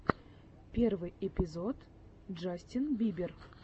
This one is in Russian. первый эпизод джастин бибер